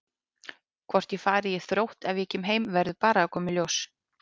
Hvort ég fari í Þrótt ef ég kem heim verður bara að koma í ljós.